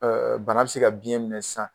Ɛɛ bana be se ka biɲɛ minɛ sisan.